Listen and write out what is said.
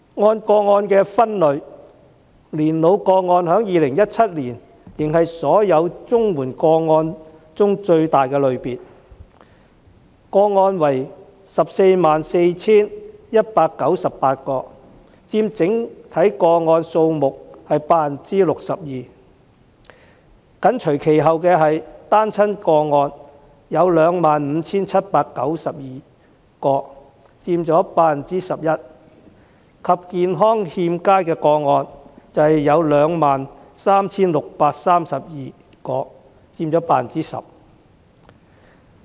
按個案類別分析，在2017年，年老個案仍是所有綜援個案中最大的類別，有 144,198 宗，佔整體個案數目 62%； 緊隨其後的是單親個案，有 25,792 宗，佔 11%， 以及 23,632 宗健康欠佳個案，佔 10%。